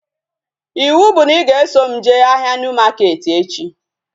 Ịwụ bụ na ị ga-eso m jee ahịa Niu maketi echi